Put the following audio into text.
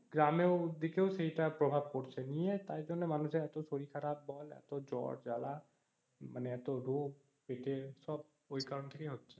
গ্রামেও দিকেও সেটা প্রভাব পড়ছে নিয়ে তারপরে এত মানুষের সেজন্য শরীর খারাপ বল এত জর জ্বালা মানে এত রোগ পেটে সব ওইকারন থেকেই হচ্ছে